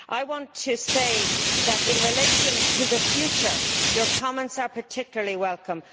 I want to say that, in relation to the future, your comments are particularly welcome.